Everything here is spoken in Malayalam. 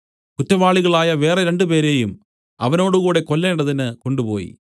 കുറ്റവാളികളായ വേറെ രണ്ടുപേരെയും അവനോടുകൂടെ കൊല്ലേണ്ടതിന് കൊണ്ടുപോയി